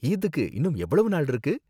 ஈத்க்கு இன்னும் எவ்வளவு நாள் இருக்கு